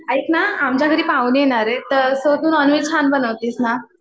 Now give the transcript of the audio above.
ऐकना, आमच्या घरी पाहुणे येणार आहेत. तर तू नॉनव्हेज छान बनवतीस ना.